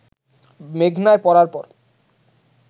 মেঘনায় পড়ার পর